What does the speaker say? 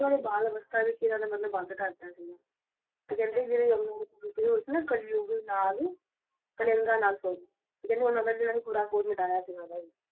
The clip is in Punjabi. ਉਹਨਾਂ ਨੇ ਬਾਲ ਅਵੱਸਥਾ ਵਿੱਚ ਹੀ ਬੰਦ ਕਰਤਾ ਸੀ ਤੇ ਕਹਿੰਦੇ ਨੇ ਜਿਹੜੇ ਹੋਏ ਸੀ ਨਾ ਕਲਯੁਗ ਨਾਲ ਕਲੰਗਾ ਨਾਲ ਤੇ ਕਹਿੰਦੇ ਉਹਨਾਂ ਦਾ ਵੀ ਖੁਰਾ ਖੋਦ ਮਿਟਾਇਆ ਸੀ।